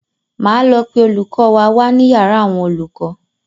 Máa lọ pe olùkọ́ wa wá ní yàrá àwọn olùkọ́.